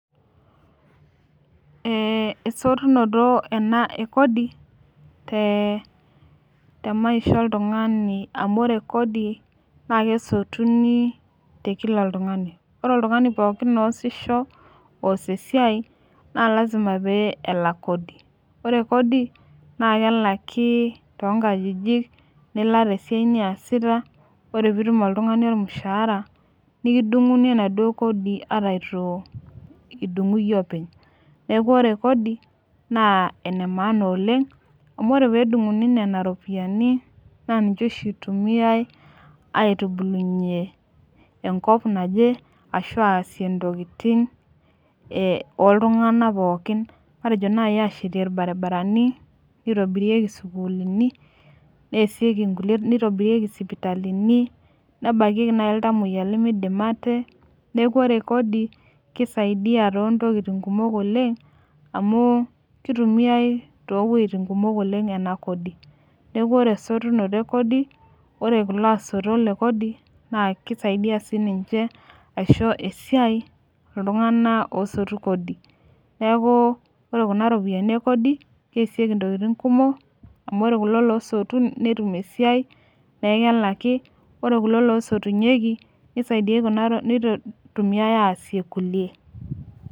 Ee esotunoto ena ekodi te maisha oltungani amu ore Kodi, naa kesotunu te Kila oltungani, ore oltungani pookin oosisho, oos esiai, naa lasima pee elak kodi. ore Kodi naa kelaki too nkajijik, nilak te siai niasita. ore pee itum oltungani olmushaara. nikidungunj enaduoo Kodi ata eitu idungu iyie openly. neeku ore Kodi naa ene maana oleng. amu ore pee edunguni Nena ropiyiani naa ninche oshi itumiae aitubulu ye enkop naje ashu aq intokitin ooltunganak pookin. matejo naaji aashetie ilbarinarani, nitobirirki isukulini, nitobiraki isipitalini. nebakieki naaji iltamoyia limidim ate. neeku ore Kodi, kisidai too ntokitin kumok oleng. amu kitumiae too wuejitin kumok oleng ena Kodi neeku ore esotunoto ekodi, ore kulo asotolk le Kodi naa kisaidia sii ninche aisho esiai iltunganak oosotu kodi. neeku ore Kuna ropiyiani ekodi keesieki intokitin kumok. amh ore kulo loosotu netum esiai neeku kelaki. ore kulo loostunyieki, neitumiae aasie kulie.